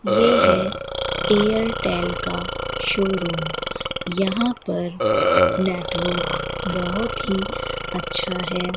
ये है एयरटेल का शोरूम यहां पर नेटवर्क बहोत ही अच्छा है।